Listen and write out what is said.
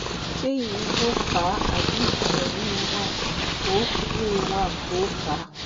ṣé ìyẹn ló fà á àbí nǹkan míì wà tó míì wà tó fà á?